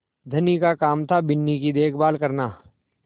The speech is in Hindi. धनी का काम थाबिन्नी की देखभाल करना